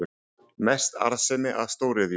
Mest arðsemi af stóriðju